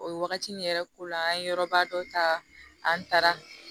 O ye wagati min yɛrɛ ko la an ye yɔrɔba dɔ ta an taara